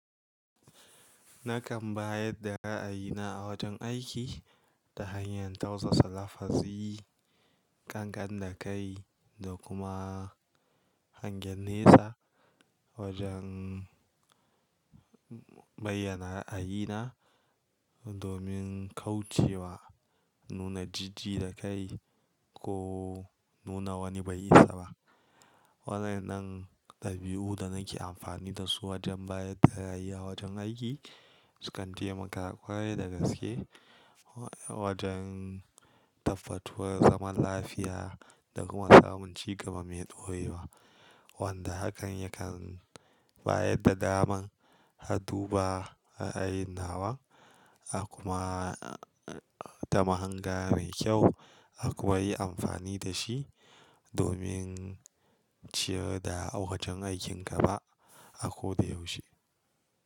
Nakan bayar da ra'ayina a wajen aiki, ta hanyar tausasa lafazi, ƙanƙan da kai, da kuma hangen nesa, wajen bayyana ra'ayina, domin kauce wa nuna jiji da kai, ko nuna wani bai isa ba. Waɗannan dabi'u da nake amfani da su wajen bayar da ra'ayi a wajen aiki, sukan taimaka ƙwarai da gaske, wajen tabbatuwar zaman lafiya da kuma samun cigaba mai ɗorewa. Wanda hakan yakan bayar da daman addu ba ra'ayin nawa, a kuma, ta mahanga mai kyau, a kuma yi amfani da shi, domin ciyar da wajen aikin gaba, a ko da yaushe.